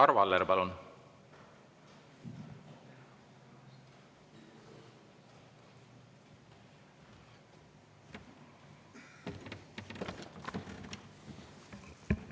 Arvo Aller, palun!